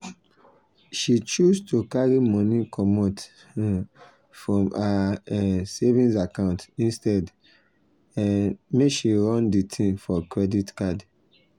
she choose to carry money comot um from her um savings account instead um make she run the thing for credit card.